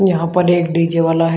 यहां पर एक डी_जे वाला है।